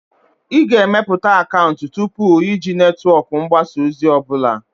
Ị ga-emepụta akaụntụ tupu iji netwọk mgbasa ozi ọ bụla.